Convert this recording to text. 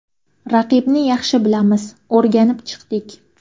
Raqibni yaxshi bilamiz, o‘rganib chiqdik.